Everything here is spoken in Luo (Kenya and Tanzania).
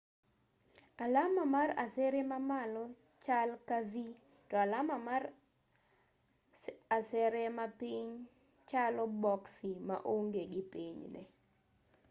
alama mar asere ma malo chal ka v to alama mar asere mapiny chalo boksi ma onge gi pinyne